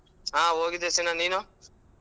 ಹಾ ಹೋಗಿದ್ದೆ ಸೀನಾ ನೀನು?